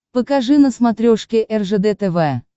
покажи на смотрешке ржд тв